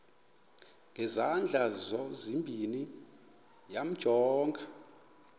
ngezandla zozibini yamjonga